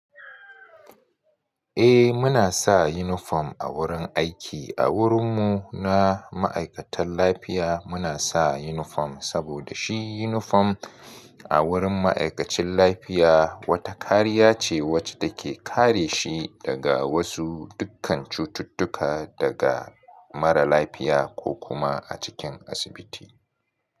Eh muna sa uniform a wurin aiki. A wurin mu na ma'aikatan lafiya muna sa uniform saboda shi uniform a wurin ma'aikacin lafiya wata kariya ce wacce take kare shi daga wasu dukkan cututtuka daga mara lafiya ko kuma a cikin asibiti.